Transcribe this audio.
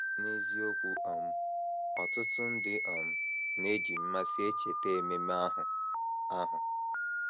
N’eziokwu um, ọtụtụ ndị um na - eji mmasị echeta ememe ahụ. ahụ.